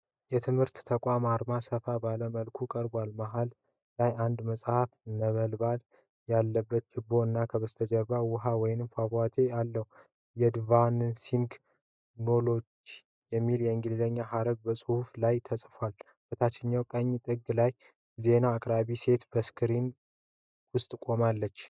የትምህርት ተቋም አርማ ሰፋ ባለ መልኩ ቀርቧል። መሃል ላይ አንድ መጽሐፍ፣ ነበልባል ያለበት ችቦ እና ከበስተጀርባ ውሃ ወይም ፏፏቴ አለ።'አድቫንሲንግ ኖውሌጅ' የሚለው የእንግሊዘኛ ሐረግ በመጽሐፉ ላይ ተጽፏል። በታችኛው ቀኝ ጥግ ላይ ዜና አቅራቢ ሴት በስክሪን ውስጥ ቆማለች።